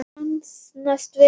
Þú kannast við það!